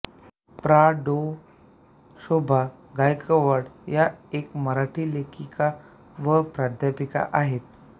प्रा डाॅ शोभा गायकवाड या एक मराठी लेखिका व प्राध्यापिका आहेत